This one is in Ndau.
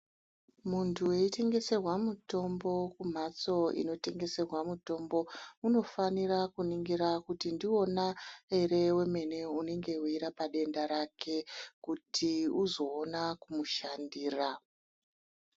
Muntu weitengeserwa mutombo kumphatso inotengeserwa mutombo unofanire kuningira kuti ndiwona ere wemene unenge weirapa denda rake kuti uzoona kumushandira.